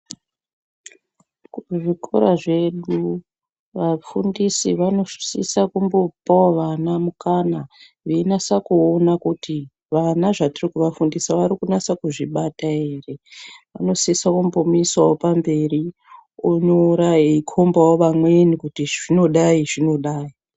Kuzvikora zvedu, vafundisi vanosisa kumbopawo vana mukana, veinasa kuona kuti, vana zvatiri kufundisa vari kunasa kuzvibata ere. Vanosisa kumbomuisawo pamberi, onyora eikhombawo vamweni, kuti izvi zvinodai izvi zvinodai.